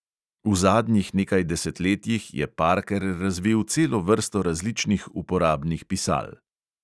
V zadnjih nekaj desetletjih je parker razvil celo vrsto različnih uporabnih pisal.